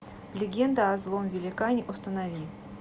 легенда о злом великане установи